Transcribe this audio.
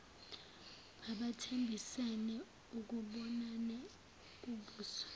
babethembisene ukubonana ubuso